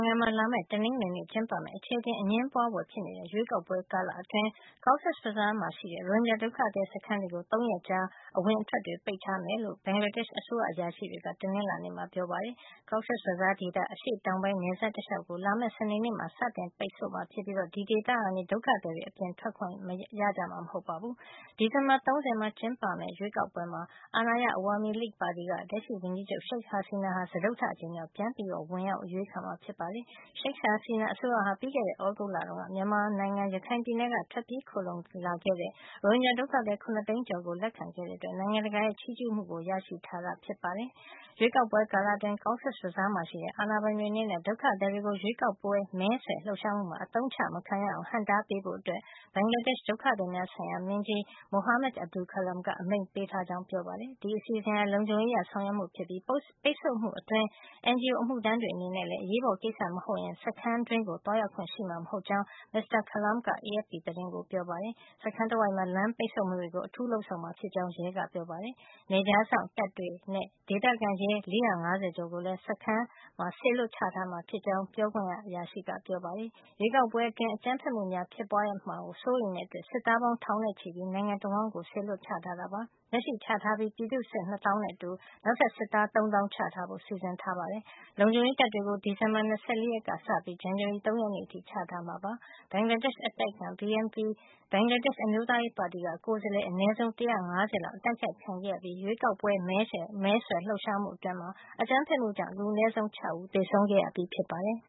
င်ငံမှာ လာမယ့် တနင်္ဂနွေနေ့ ကျင်းပမယ့် အခြေအတင် အငြင်းပွါးဖွယ်ဖြစ်နေတဲ့ ရွေးကောက်ပွဲကာလ အတွင်း Cox’s Bazar က ရိုဟင်ဂျာ ဒုက္ခသည် စခန်းတွေကို ၃ ရက်ကြာ အဝင်အထွက် ပိတ်ထားမှာ ဖြစ်ကြောင်း ဘင်္ဂလားဒေ့ရှ် အစိုးရ အရာရှိတွေက တနင်္လာနေ့က ပြောပါတယ်။ Cox’s Bazar ဒေသရဲ့ အရှေ့တောင်ပိုင်း နယ်စပ် တလျှောက်ကို လာမယ့် စနေနေ့မှာ စတင်ပိတ်မှာ ဖြစ်ပြီး အဲဒီဒေသကနေ ဒုက္ခသည်တွေ အပြင်ထွက်ခွင့် ရကြမှာ မဟုတ်ပါဘူး။ ဒီဇင်ဘာ ၃၀ ရက် ကျင်းပမယ့် ရွေးကောက်ပွဲမှာ အာဏာရ Awami League ပါတီက လက်ရှိဝန်ကြီးချုပ် Sheik Hasina ဟာ စတုတ္ထ အကြိမ်မြောက် ပြန်လည် ဝင်ရောက် အရွေးချယ် ခံမှာဖြစ်ပါတယ်။ Sheik Hasina အစိုးရဟာ ပြီးခဲ့တဲ သြဂုတ်လက မြန်မာနိုင်ငံ ရခိုင်ပြည်နယ်ကနေ ထွက်ပြေးခိုလှုံခဲ့တဲ ရိုဟင်ဂျာ ဒုက္ခသည် ၇ သိန်းကျော်ကို လက်ခံခဲ့တဲ့ အတွက် နိုင်ငံတကာရဲ့ ချီးကျူးမှုကို ရရှိထားတာ ဖြစ်ပါတယ်။ ရွေးကောက်ပွဲ ကာလအတွင်း Cox’s Bazar ရှိ အာဏာပိုင်တွေ အနေနဲ့ ဒုက္ခသည်တွေကို ရွေးကောက်ပွဲ မဲဆွယ်လှုပ်ရှားမှုမှာ အသုံးချ မခံရအောင် ဟန့်တားပေးဖို့ ဘင်္ဂလားဒေ့ရှ် ဒုက္ခသည်များ ဆိုင်ရာ မင်းကြီး Mohamad Abdu Khalam က အမိန့်ပေးထား ကြောင်း ပြောပါတယ်။ ဒီအစီအစဉ်ဟာ လုံခြုံရေး အရ ဆောင်ရွက်မှု ဖြစ်ပြီး ပိတ်ဆို့မှု အတွင်း NGO အမှုထမ်းတွေ အနေနဲ့လည်း အရေးပေါ် ကိစ္စ မဟုတ်ရင် စခန်းထဲ သွားရောက်ခွင့် ရှိမှာမဟုတ်ကြောင်း မစ္စတာ Khalam က AFP သတင်းကို ပြောပါတယ်။ စခန်းတဝိုက်မှာ လမ်းပိတ်ဆို့မှုတွေ ကို အထူးလုပ်ဆောင်မှာ ဖြစ်ကြောင်း ရဲက ပြောပါတယ်။ ဒါ့အပြင် နယ်ခြားစောင့် တပ်တွေနဲ့ ဒေသခံရဲ ၄၅၀ ကျော်ကိုလည်း စခန်းမှာ စေလွှတ်ချထားမှာ ဖြစ်ကြောင်း ပြောခွင့်ရက ပြောပါတယ်။ ရွေးကောက်ပွဲ အတွင်း အကြမ်းဖက်မှုများ ဖြစ်ပွါးမှာ စိုးရိမ်တဲ့အတွက် စစ်သားပေါင်း ထောင်နဲ့ ချီပြီး နိုင်ငံတဝှမ်း စေလွှတ် ချထားပါတယ်။ လက်ရှိချထားပြီး ပြည်သူ့စစ် ၂ သောင်းနဲ့အတူ နောက်ထပ် စစ်သား ၃ သောင်း ချထားဖို့ စီစဉ်ထားပါတယ်။ လုံခြုံရေးတပ်တွေကို ဒီဇင်ဘာလ ၂၄ ကစေပြီး ဇန်နဝါရီလ ၃ ရက်နေ့ အထိ ချထားမှာ ဖြစ်ပါတယ်။ ဘင်္ဂလားဒေ့ရှ် အတိုက်အခံ BNP ဘင်္ဂလားဒေ့ရှ် အမျိုးသားရေးပါတီက ကိုယ်စားလှယ် အနဲဆုံး ၁၅၀ အတိုက်ခိုက် ခံခဲ့ရပြီး ရွေးကောက်ပွဲမဲဆွယ်လှုပ်ရှားမှု အတွင်း အကြမ်းဖက်မှုကြောင့် လူအနည်းဆုံး ၆ ဦး သေဆုံးခဲ့ရပြီး ဖြစ်ပါတယ်